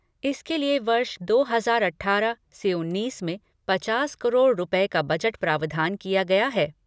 इसके लिए वर्ष दो हज़ार अठारह से उन्नीस में पचास करोड़ रूपये का बजट प्रावधान किया गया है।